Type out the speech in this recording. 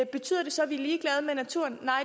betyder det så at vi er ligeglade med naturen nej